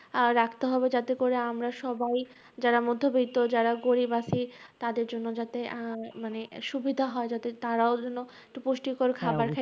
আহ রাখতে হবে যাতে করে আমরা সবাই যাতে করে আমরা সবাই যারা মধ্যবিত্ত যারা গরীব আছি, তাদের জন্য আহ যাতে সুবিধা হয় যাতে তারাও যেনো একটু পুষ্টিকর খাবার